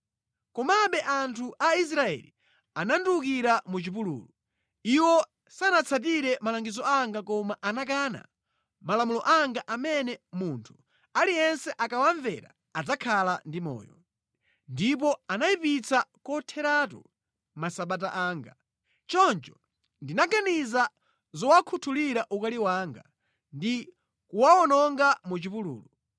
“ ‘Komabe anthu a Israeli anandiwukira mʼchipululu. Iwo sanatsatire malangizo anga koma anakana malamulo anga amene munthu aliyense akawamvera adzakhala ndi moyo. Ndipo anayipitsa kotheratu Masabata anga. Choncho, ndinaganiza zowakhuthulira ukali wanga ndi kuwawononga mʼchipululu.